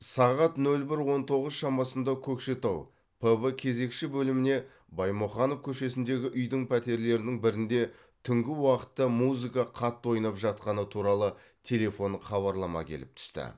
сағат ноль бір он тоғыз шамасында көкшетау пб кезекші бөліміне баймұқанов көшесіндегі үйдің пәтерлерінің бірінде түнгі уақытта музыка қатты ойнап жатқаны туралы телефон хабарлама келіп түсті